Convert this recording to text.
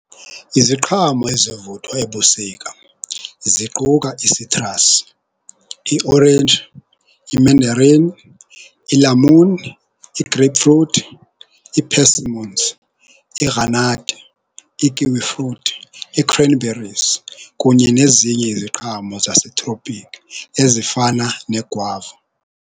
Iziqhamo ezivuthwa ebusika ziquka isitrasi, iorenji, i-manderin, ilamuni, i-grapefruit, ii-persimmons, igranadi, ii-kiwi fruit, ii-cranberries kunye nezinye iziqhamo zasetropiki ezifana negwava.